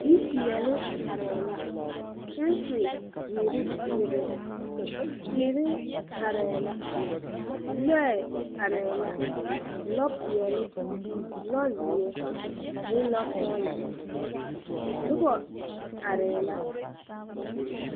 yipɛɛli areɛ la. gyɛnsi ziire bebe. tiire areɛ la. lɔɛ areɛ la. lɔ pɛɛli, lɔ zie, ne lɔ soglɔ. nobo areɛ la